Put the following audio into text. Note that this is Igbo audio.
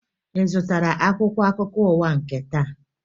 Ị zụtara akwụkwọ akụkọ ụwa nke taa?